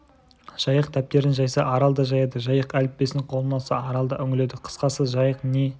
жайық дәптерін жайса арал да жаяды жайық әліппесін қолына алса арал да үңіледі қысқасы жайық не